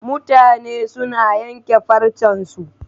Mutane suna yanke farcen su